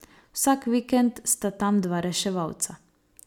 Vsak vikend sta tam dva reševalca.